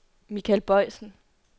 Mikael Boysen